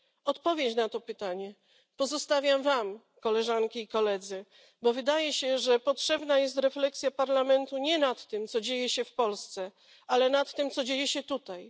Odpowiedź na to pytanie pozostawiam Wam, Koleżanki i Koledzy, bo wydaje się, że potrzebna jest refleksja Parlamentu nie nad tym, co dzieje się w Polsce, ale nad tym, co dzieje się tutaj.